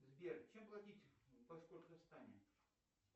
сбер чем платить в башкортостане